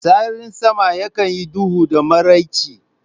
Sararin sama yakan yi duhu da maraice